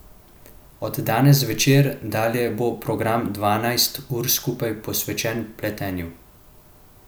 Od danes zvečer dalje bo program dvanajst ur skupaj posvečen pletenju.